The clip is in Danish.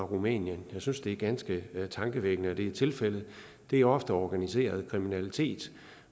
rumænien jeg synes det er ganske tankevækkende at det er tilfældet det er ofte organiseret kriminalitet